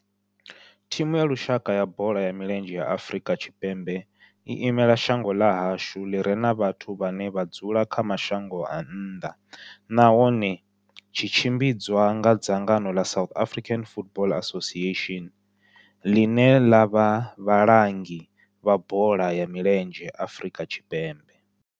Thimu ya lushaka ya bola ya milenzhe ya Afrika Tshipembe i imela shango ḽa hashu ḽi re na vhathu vhane vha dzula kha mashango a nnḓa nahone tshi tshimbidzwa nga dzangano la South African Football Association, line la vha vhalangi vha bola ya milenzhe Afrika Tshipembe.